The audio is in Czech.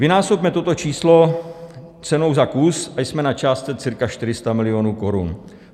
Vynásobme toto číslo cenou za kus a jsme na částce cca 400 milionů korun.